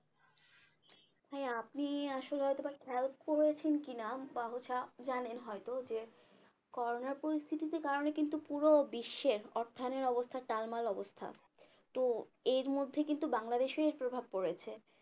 ভাইয়া আপনি আসলে হয়তো বা খেয়াল করেছেন কিনা বা হচ্ছে জানেন হয়তো যে করোনার পরিস্থিতিতে কারণে কিন্তু পুরো বিশ্বের অর্থায়নের অবস্থা টাল মাল অবস্থা তো এর মধ্যে কিন্তু বাংলাদেশে এর প্রভাব পড়েছে